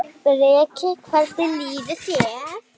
Breki: Hvernig líður þér?